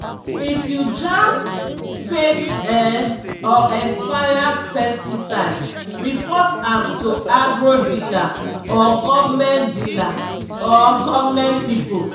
if you jam fake um or expired pesticide report am to agro dealer or government dealer or government people.